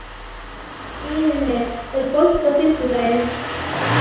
Irene, er bolti á fimmtudaginn?